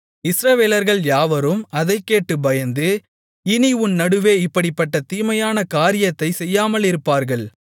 இஸ்ரவேலர்கள் யாவரும் அதைக் கேட்டுப் பயந்து இனி உன் நடுவே இப்படிப்பட்ட தீமையான காரியத்தைச் செய்யாமலிருப்பார்கள்